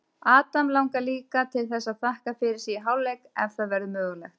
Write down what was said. Adam langar líka til þess að þakka fyrir sig í hálfleik ef það verður mögulegt.